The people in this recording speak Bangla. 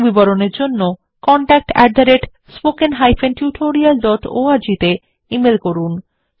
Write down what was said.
অধিক বিবরণের জন্য contactspoken tutorialorg তে ইমেল করুন